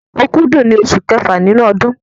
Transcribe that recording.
Òkúdù ni oṣù kẹfà nínú ọdún.